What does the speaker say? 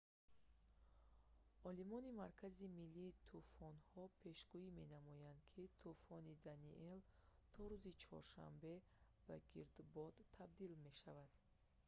олимони маркази миллии тӯфонҳо пешгӯӣ менамоянд ки тӯфони даниел то рӯзи чоршанбе ба гирдбод табдил мешавад